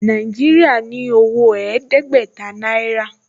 Nàìjíríà ní owó ẹ̀ẹ́dẹ́gbẹ̀ta náírà